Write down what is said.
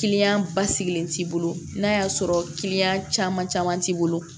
basigilen t'i bolo n'a y'a sɔrɔ caman caman t'i bolo